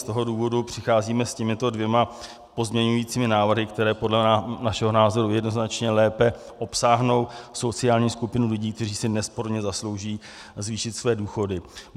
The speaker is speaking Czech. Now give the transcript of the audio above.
Z toho důvodu přicházíme s těmito dvěma pozměňujícími návrhy, které podle našeho názoru jednoznačně lépe obsáhnou sociální skupinu lidí, kteří si nesporně zaslouží zvýšit své důchody.